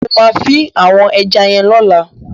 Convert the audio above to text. Mo ma fin àwon eja yen lọ́la